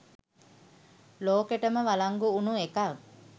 ලෝකෙටම වලංගු වුණු එකක්